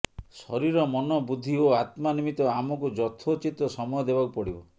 ଶରୀର ମନ ବୁଦ୍ଧି ଓ ଆତ୍ମା ନିମିତ୍ତ ଆମକୁ ଯଥୋଚିତ ସମୟ ଦେବାକୁ ପଡ଼ିବ